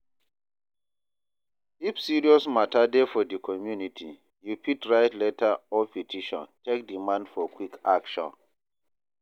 if serious mata dey for di community, you fit write letter or petition take demand for quick action.